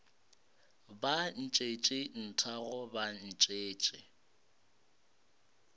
ba ntšhetše nthago ba ntšhetše